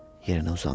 Yerinə uzandı.